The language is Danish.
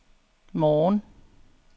morgen